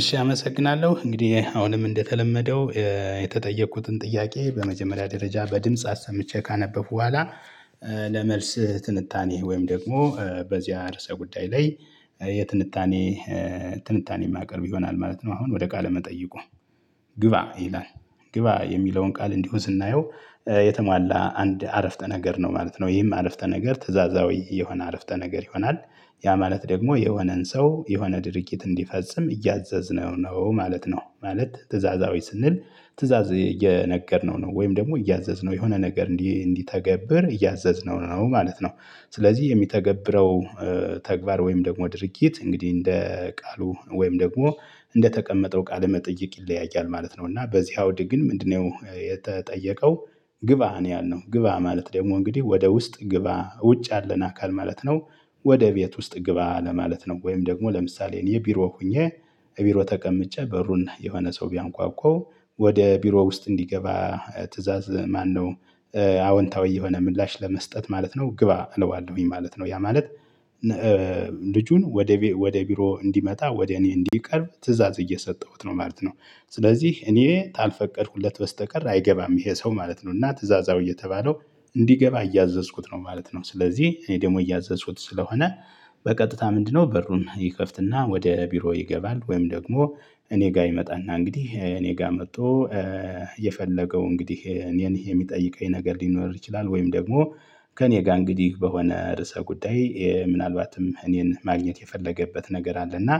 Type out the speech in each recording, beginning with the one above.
እሺ አመሰግናለሁ እንግዲህ አሁንም እንደተለመደው የተጠየቁትን ጥያቄ በመጀመሪያ ደረጃ በድምጽ አሰምቼ ካነበብኩ በኋላ ለመልስህ ትንታኔ ወይም ደግሞ በዚህ ርዕሰ ጉዳይ ላይ የትንታኔ ትንታኔ ማቅርብ ይሆናል ማለት ነው። አሁን ወደ ቃለ መጠይቁ ግባ ይላል ግባ የሚለውን ቃል እንዲሁ ስናየው የተሟላ አንድ አረፍተ ነገር ነው ማለት ነው። ይህም አረፍተ ነገር ትእዛዛዊ የሆነ አረፍተ ነገር ይሆናል ያ ማለት ደግሞ የሆነን ሰው የሆነ ድርጊት እንዲፈጽም እያዘዝነው ነው ማለት ነው። ማለት ትእዛዛዊ ስንል ትእዛዝ እየነገርነው ነው ወይም ደግሞ እያዘዝነው የሆነ ነገር እንዲ እንዲተገብር እያዘዝነው ነው ማለት ነው። ስለዚህ የሚተገብረው ተግባር ወይም ደግሞ ድርጊት እንግዲህ እንደ ቃሉ ወይም ደግሞ እንደተቀመጠው ቃለ መጠየቅ ይለያያል ማለት ነው። እና በዚህ አውድ ግን ምንድነው የተጠየቀው? ግባ ነው ያልነው ግባ ማለት ደግሞ እንግዲህ ወደ ውስጥ ግባ ውጭ ያለን አካል ማለት ነው። ወደ ቤት ውስጥ ግባ ለማለት ነው። ወይም ደግሞ ለምሳሌ የኔ ቢሮ ሆኜ ቢሮ ተቀምጬ በሩን የሆነ ሰው ቢያንኳኳው ወደ ቢሮ ውስጥ እንዲገባ ትእዛዝ ማነው? አዎንታዊ የሆነ ምላሽ ለመስጠት ማለት ነው ግባ እለዋለሁኝ ማለት ነው። ያ ማለት ልጁን ወደ ወደ ቢሮ እንዲመጣ ወደ እኔ እንዲቀርብ ትእዛዝ እየሰጠሁት ነው ማለት ነው። ስለዚህ እኔ ካልፈቀድኩለት በስተቀር አይገባም ይሄ ሰው ማለት ነው እና ትእዛዛው እየተባለው እንዲገባ እያዘዝኩት ነው ማለት ነው። ስለዚህ እኔ ደግሞ እያዘዝኩት ስለሆነ በቀጥታ ምንድነው በሩን ይከፍትና ወደ ቢሮ ይገባል። ወይም ደግሞ እኔ ጋር ይመጣና እንግዲህ እኔ ጋር መጥቶ የፈለገው እንግዲህ እኔን የሚጠይቀኝ ነገር ሊኖር ይችላል። ወይም ደግሞ ከእኔ ጋር እንግዲህ በሆነ ርዕሰ ጉዳይ ምናልባትም እኔን ማግኘት የፈለገበት ነገር አለ። እና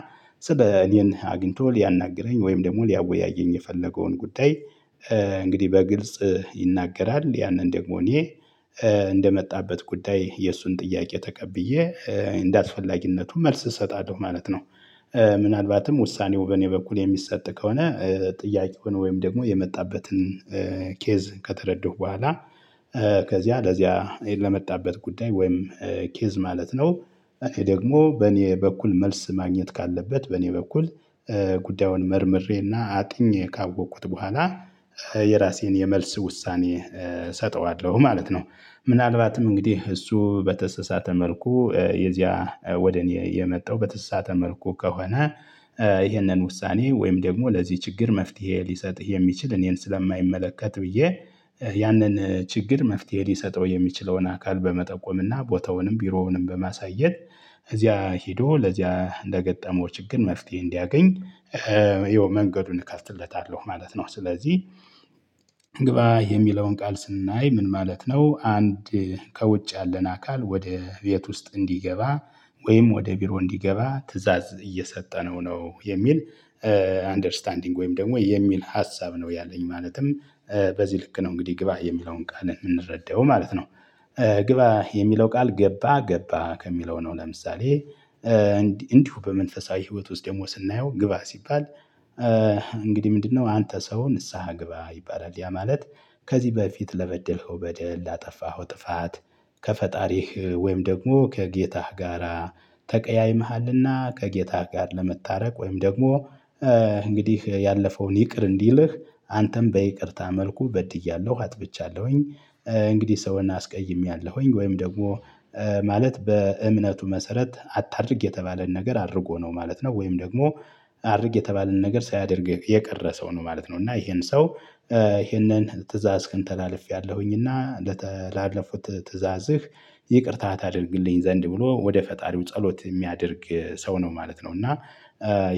እኔን አግኝቶ ሊያናግረኝ ወይም ደግሞ ሊያወያየኝ የፈለገውን ጉዳይ። እንግዲህ በግልጽ ይናገራል ያንን ደግሞ እኔ እንደመጣበት ጉዳይ የእሱን ጥያቄ ተቀብዬ እንደአስፈላጊነቱ መልስ እሰጣለሁ ማለት ነው። ምናአልባትም ውሳኔው በኔ በኩል የሚሰጥ ከሆነ ጥያቄውን ወይም ደግሞ የመጣበትን ኬዝ ከተረደው በኋላ ከዚያ ለዚያ ለመጣበት ጉዳይ ወይም ኬዝ ማለት ነው። እኔ ደግሞ በኔ በኩል መልስ ማግኘት ካለበት በኔ በኩል ጉዳዩን መርምሬና አጥኜ ካወቁት በኋላ የራሴን የመልስ ውሳኔ እሰጠዋለሁ ማለት ነው። ምናልባትም እንግዲህ እሱ በተሰሳተ መልኩ የዚያ ወደ እኔ የመጣው በተሰሳተ መልኩ ከሆነ። ይህንን ውሳኔ ወይም ደግሞ ለዚህ ችግር መፍትሄ ሊሰጥህ የሚችል እኔን ስለማይመለከት ብዬ ያንን ችግር መፍትሄ ሊሰጠው የሚችለውን አካል በመጠቆምና ቦታውንም ቢሮውንም በማሳየት እዚያ ሄዶ ለዚያ ለገጠመው ችግር መፍትሄ እንዲያገኝ ይኸው መንገዱን እከፍትለታለሁ ማለት ነው። ስለዚህ የሚለውን ቃል ስናይ ምን ማለት ነው? አንድ ከውጭ ያለን አካል ወደ ቤት ውስጥ እንዲገባ ወይም ወደ ቢሮ እንዲገባ ትእዛዝ እየሰጠነው ነው የሚል። አንደርስታንዲንግ ወይም ደግሞ የሚል ሀሳብ ነው ያለኝ ማለትም በዚህ ልክ ነው እንግዲህ ግባ የሚለውን ቃልን የምንረዳው ማለት ነው። ግባ የሚለው ቃል ገባ ገባ ከሚለው ነው። ለምሳሌ እንዲሁ በመንፈሳዊ ህይወት ውስጥ ደግሞ ስናየው ግባ ሲባል። እንግዲህ ምንድነው አንተ ሰው ንስሃ ግባ ይባላል ያ ማለት። ከዚህ በፊት ለበደልከው በደል ላጠፋኸው ጥፋት። ከፈጣሪህ ወይም ደግሞ ከጌታህ ጋራ ተቀያይመሃልና ከጌታህ ጋር ለመታረቅ ወይም ደግሞ እንግዲህ ያለፈውን ይቅር እንዲልህ አንተም በይቅርታ መልኩ በድያለሁ አጥፍቻለሁኝ። እንግዲህ ሰውን አስቀይሜያለሁኝ ወይም ደግሞ ማለት በእምነቱ መሰረት አታድርግ የተባለን ነገር አድርጎ ነው ማለት ነው። ወይም ደግሞ አድርግ የተባለን ነገር ሳያደርግ የቀረ ሰው ነው ማለት ነው። እና ይሄን ሰው ትእዛዝክን ተላልፌያለሁኝና ለተላለፉት ትዕዛዝህ ይቅርታ ታደርግልኝ ዘንድ ብሎ ወደ ፈጣሪው ጸሎት የሚያደርግ ሰው ነው ማለት ነው። እና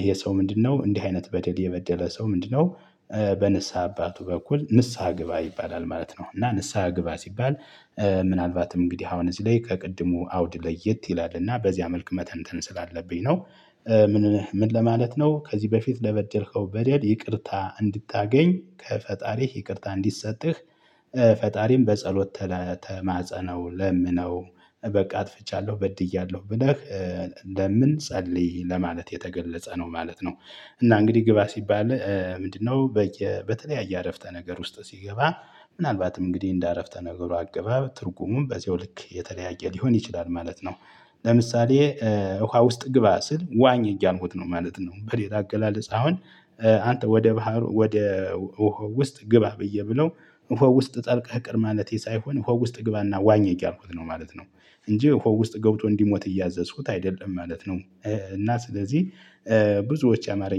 ይሄ ሰው ምንድነው እንዲህ አይነት በደል የበደለ ሰው ምንድነው? በንስሃ አባቱ በኩል ንስሃ ግባ ይባላል ማለት ነው። እና ንስሃ ግባ ሲባል ምናልባትም እንግዲህ አሁን እዚህ ላይ ከቅድሙ አውድ ለየት ይላል እና በዚህ መልኩ መተንተን ስላለብኝ ነው። ምን ለማለት ነው? ከዚህ በፊት ለበደልከው በደል ይቅርታ እንድታገኝ ከፈጣሪህ ይቅርታ እንዲሰጥህ። ፈጣሪም በጸሎት ተማጸነው ለምነው በቃ አጥፍቻለሁ በድያለሁ ብለህ ለምን ጸልይ ለማለት የተገለጸ ነው ማለት ነው። እና እንግዲህ ግባ ሲባል ምንድነው? በተለያየ አረፍተ ነገር ውስጥ ሲገባ ምናልባትም እንግዲህ እንደ አረፍተ ነገሩ አገባብ ትርጉሙን በዚሁ ልክ የተለያየ ሊሆን ይችላል ማለት ነው። ለምሳሌ ውሃ ውስጥ ግባ ስል ዋኝ እያልኩት ነው ማለት ነው። በሌላ አገላለጽ አሁን አንተ ወደ ባህር ወደ ውሃው ውስጥ ግባ ብዬ ብለው ውስጥ ጠልቀህ ቅር ማለቴ ሳይሆን ውስጥ ግባና ዋኘህ ያልኩት ነው ማለት ነው። እንጂ ሆ ውስጥ ገብቶ እንዲሞት እያዘዝኩት አይደለም ማለት ነው። እና ስለዚህ ብዙዎች ያማረኛ